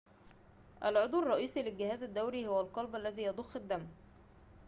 العضو الرئيسي للجهاز الدوري هو القلب الذي يضخ الدم